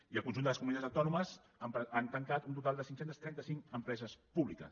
i el conjunt de les comunitats autònomes han tancat un total de cinc cents i trenta cinc empreses públiques